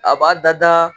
A b'a dada